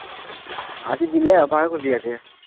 আজি দিলে আজিয়েই